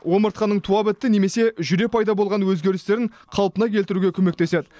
омыртқаның туа бітті немесе жүре пайда болған өзгерістерін қалпына келтіруге көмектеседі